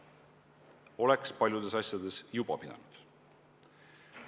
Seda oleks paljudes asjades juba pidanud tegema.